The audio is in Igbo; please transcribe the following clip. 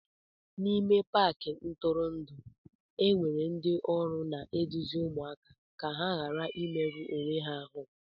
N'ime Paakị ntụrụndụ enwere ndị ọrụ na-eduzi ụmụaka ka ha ghara imerụ onwe ha ahụ